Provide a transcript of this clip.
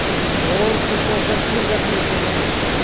और खुश होकर फिर रख लेते हैं